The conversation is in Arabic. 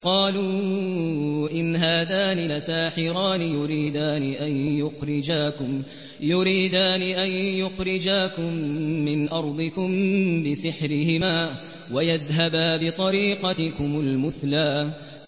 قَالُوا إِنْ هَٰذَانِ لَسَاحِرَانِ يُرِيدَانِ أَن يُخْرِجَاكُم مِّنْ أَرْضِكُم بِسِحْرِهِمَا وَيَذْهَبَا بِطَرِيقَتِكُمُ الْمُثْلَىٰ